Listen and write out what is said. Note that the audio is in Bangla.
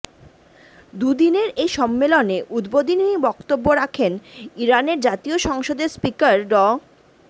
দুই দিনের এই সম্মেলনে উদ্বোধনী বক্তব্য রাখেন ইরানের জাতীয় সংসদের স্পিকার ড